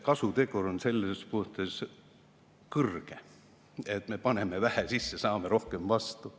Kasutegur on selles mõttes kõrge, et me paneme vähe sisse, saame rohkem vastu.